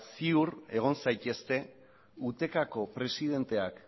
ziur egin zaitezte utecako presidenteak